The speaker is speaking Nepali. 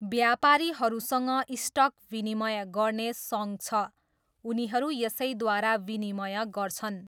व्यापारीहरूसँग स्टक विनिमय गर्ने सङ्घ छ, उनीहरू यसैद्वारा विनिमय गर्छन्।